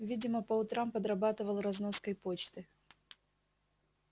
видимо по утрам подрабатывал разноской почты